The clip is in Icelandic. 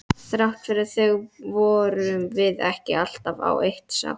Þrátt fyrir það vorum við ekki alltaf á eitt sátt.